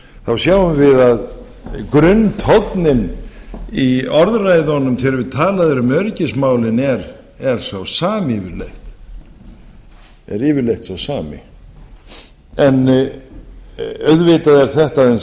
þá sjáum við að grunntónninn í orðræðunum þegar talað er um öryggismálin er sá sami yfirleitt auðvitað er þetta aðeins